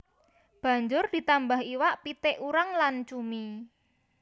Banjur ditambah iwak pitik urang lan cumi